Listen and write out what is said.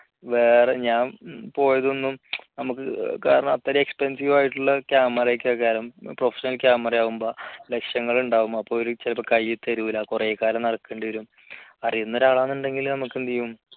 വേറെ ഞാൻ പോയതൊന്നും നമുക്ക് കാരണം അത്ര expensive ആയിട്ടുള്ള camera ഒക്കെ ആകുമ്പോൾ professional camera ആകുമ്പോൾ ലക്ഷങ്ങൾ ഉണ്ടാവും അപ്പൊ അവര് ചിലപ്പോ കൈ തരില്ല കുറെ കാലം നടക്കേണ്ടി വരും അറിയുന്ന ഒരാളാണെന്നുണ്ടെങ്കിൽ നമുക്കെന്തു ചെയ്യും